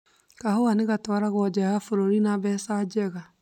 Kahũa nĩgatwaragwo nja wa bũrũri na mbeca njega.